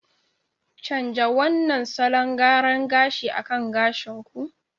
Canja wannan salon gyara gashi akan gashin ku!